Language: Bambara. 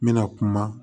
N bɛna kuma